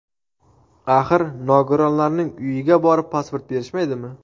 Axir, nogironlarning uyiga borib pasport berishmaydimi?